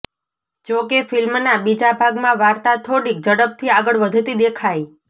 જોકે ફિલ્મના બીજા ભાગમાં વાર્તા થોડીક ઝડપથી આગળ વધતી દેખાઈ